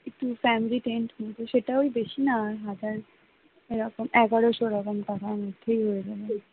একটু family tent নিব সেটাও বেশি না? হাজার এরকম এগারোশো টাকার মতো